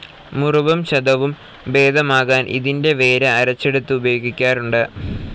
മുറിവും ചതവും ഭേദമാക്കാൻ ഇതിൻ്റെ വേര് അരച്ചെടുത്തു ഉപയോഗിക്കാറുണ്ട്.